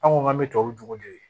An ko k'an bɛ tubabu